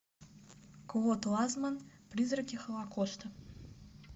клод ланзманн призраки холокоста